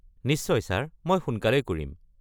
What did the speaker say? নিশ্চয় ছাৰ, মই সোনকালেই কৰিম।